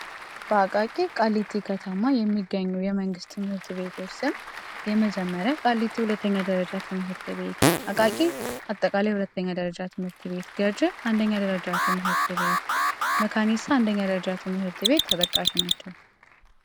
በ አቃቂ ቃሊቲ ከተማ የሚገኙ የመንግስት ትምህርት ቤቶች ስም የመጀመሪያው ቃሊቲ ሁለተኛ ደረጃ ትምህርት ቤት አቃቂ አጠቃላይ ሁለተኛ ደረጃ ትምህርት ቤት ገጂ አንደኛ ደረጃ ትምህርት ቤት መካኒሳ አንደኛ ደረጄ ትምህርት ቤት ተጠቃሽ ናቸው